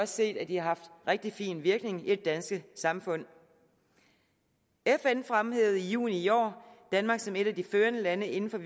set at det haft rigtig fin virkning i det danske samfund fn fremhævede i juni i år danmark som et af de førende lande inden for